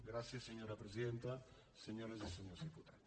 gràcies senyora presidenta senyores i senyors diputats